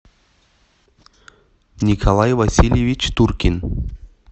николай васильевич туркин